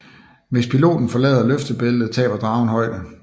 Hvis piloten forlader løftebæltet taber dragen højde